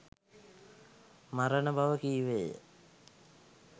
මරණ බව කීවේය.